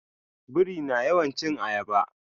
Biri na yawan cin ayaba.